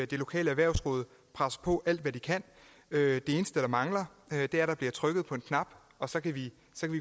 det lokale erhvervsråd presser på alt det de kan det eneste der mangler er at der bliver trykket på knappen og så kan vi